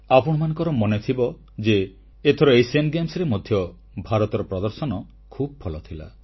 ଆପଣମାନଙ୍କ ମନେଥିବ ଯେ ଏଥର ଏସୀୟ କ୍ରୀଡାରେ ମଧ୍ୟ ଭାରତର ପ୍ରଦର୍ଶନ ଖୁବ୍ ଭଲ ଥିଲା